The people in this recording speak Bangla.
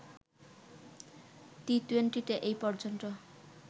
টি-টুয়েন্টিতে এপর্যন্ত